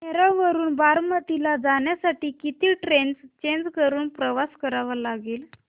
नेरळ वरून बारामती ला जाण्यासाठी किती ट्रेन्स चेंज करून प्रवास करावा लागेल